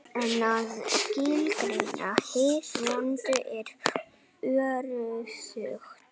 En að skilgreina hið vonda er örðugt.